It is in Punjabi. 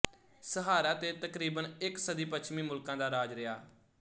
ਸਹਾਰਾ ਤੇ ਤਕਰੀਬਨ ਇੱਕ ਸਦੀ ਪੱਛਮੀ ਮੁਲਕਾਂ ਦਾ ਰਾਜ ਰਿਹਾ